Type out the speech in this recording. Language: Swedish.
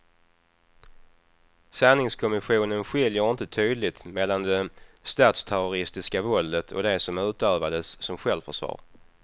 Sanningskommissionen skiljer inte tydligt mellan det statsterroristiska våldet och det som utövades som självförsvar.